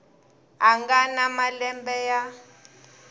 a nga na malembe ya